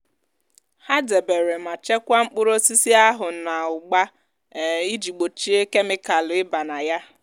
há dèbèrè mà chekwáá mkpụrụ osisi ahù nà ụ́gba um iji gbòchíe kemikàlù ị́ba nà nà yá